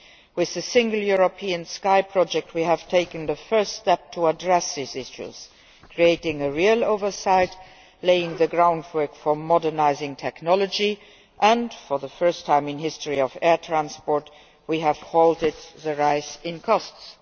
With the Single European Sky project we have taken the first step towards addressing these issues creating real oversight, laying the groundwork for modernising technology and, for the first time in the history of air transport, we have halted the rise in costs.